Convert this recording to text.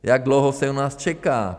Jak dlouho se u nás čeká?